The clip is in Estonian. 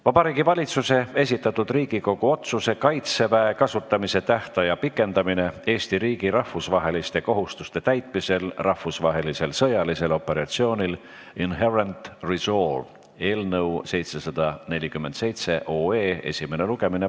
Vabariigi Valitsuse esitatud Riigikogu otsuse "Kaitseväe kasutamise tähtaja pikendamine Eesti riigi rahvusvaheliste kohustuste täitmisel rahvusvahelisel sõjalisel operatsioonil Inherent Resolve" eelnõu 747 esimene lugemine.